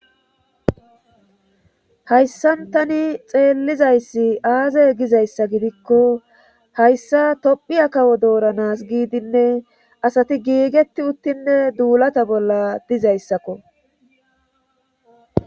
hayssan tani xeellizayssi aaze gizayssa gidikko hayssa tophiya kawo dooranas giidinne asati giigetti uttinne duulata bolla dizayssakko